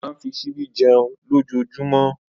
Ó máa fi ṣíbí jẹun lójoojúmọ́.